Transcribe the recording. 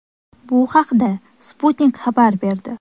Bu haqda Sputnik xabar berdi .